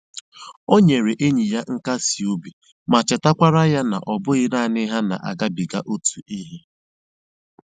O nyere enyi ya nkasi obi ma chetakwara ya na ọ bụghị naanị ha na-agabiga otu ihe